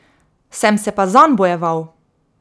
Sem se pa zanj bojeval.